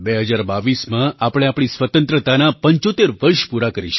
2022માં આપણે આપણી સ્વતંત્રતાનાં 75 વર્ષ પૂરાં કરીશું